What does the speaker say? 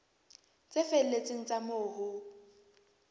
tse felletseng tsa moo ho